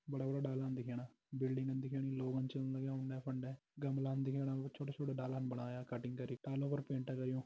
बड़ा- बड़ा डालान दिखेणा बिल्डिंगन दिखेणी लोगन चन लग्यां उडें-फंडे गमलान दिखेणा छोटे छोटे डालान बणाया काटिंग करी डालों पर पैंट कर्युं।